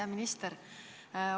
Hea minister!